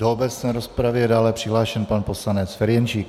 Do obecné rozpravy je dále přihlášen pan poslanec Ferjenčík.